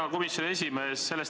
Hea komisjoni esimees!